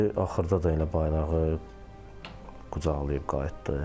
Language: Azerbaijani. Axırda da elə bayrağı qucaqlayıb qayıtdı.